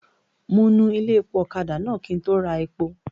Mo nu ilé-epo ọ̀kadà náà kí n tó ra epo.